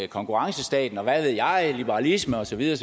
konkurrencestaten og hvad ved jeg liberalisme og så videre